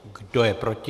Kdo je proti?